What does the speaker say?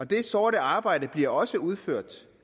det sorte arbejde bliver også udført